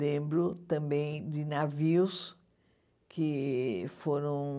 Lembro também de navios que foram...